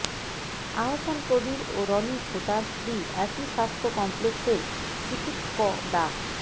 আহসান কবীর রণি ও তার স্ত্রী একই স্বাস্থ্য কমপ্লেক্সের চিকিৎক ডা